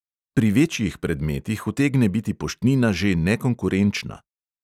Pri večjih predmetih utegne biti poštnina že nekonkurenčna.